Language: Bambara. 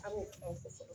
An b'o